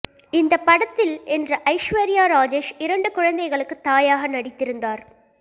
இந்த படத்தில் என்ற ஐஸ்வர்யா ராஜேஷ் இரண்டு குழந்தைகளுக்கு தாயாக நடித்திருந்தார்